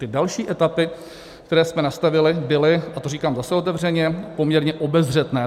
Ty další etapy, které jsme nastavili, byly, a to říkám zase otevřeně, poměrně obezřetné.